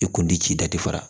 E kun ti ci dati fara